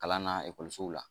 Kalan na ekɔlisow la